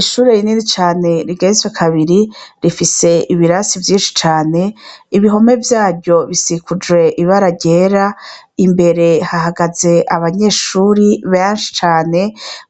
Ishure rinini cane rigeretswe kabiri, rifise ibirasi vyinshi cane ,ibihome vyaryo bisikujwe ibara ryera ,imbere hahagaze abanyeshure benshi cane,